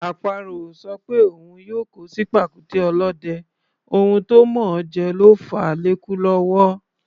Àparò ò sọ pé òun yóò kó sí pàkúté ọ̀lọ́dẹ, ohun tó mọ̀ọ́ jẹ ló fàá lékú lọ́wọ́.